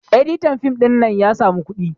editian fim ɗin nan ya samu kuɗi